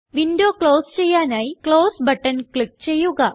window close ചെയ്യാനായി close button click ചെയ്യുക